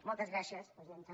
moltes gràcies presidenta